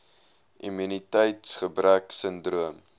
immuniteits gebrek sindroom